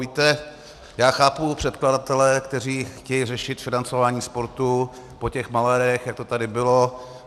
Víte, já chápu předkladatele, kteří chtějí řešit financování sportu po těch malérech, jak to tady bylo.